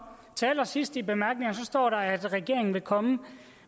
til allersidst i bemærkningerne står der at regeringen vil komme